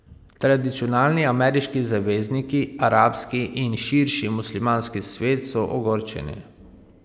Tradicionalni ameriški zavezniki, arabski in širši muslimanski svet so ogorčeni.